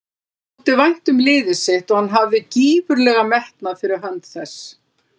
Honum þótti vænt um liðið sitt og hann hafði gífurlegan metnað fyrir hönd þess.